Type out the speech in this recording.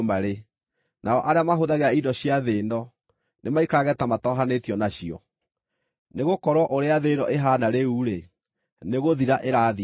nao arĩa mahũthagĩra indo cia thĩ ĩno, nĩmaikarage ta matohanĩtio nacio. Nĩgũkorwo ũrĩa thĩ ĩno ĩhaana rĩu-rĩ, nĩgũthira ĩrathira.